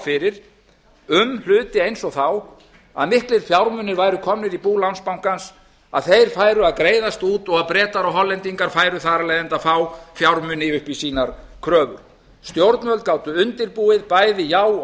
fyrir um hluti eins og þá að miklir fjármunir væru komnir í bú landsbankans að þeir færu að greiðast út og að bretar og hollendingar færu þar af leiðandi að fá fjármuni upp í sínar kröfur stjórnvöld gátu undirbúið bæði já og